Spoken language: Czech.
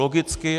Logicky.